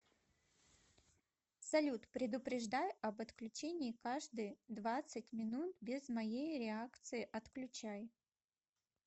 салют предупреждай об отключении каждые двадцать минут без моей реакции отключай